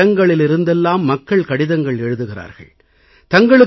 தொலைவான இடங்களிலிருந்தெல்லாம் மக்கள் கடிதங்கள் எழுதுகிறார்கள்